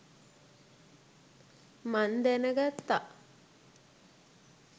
මං දැනගත්තා.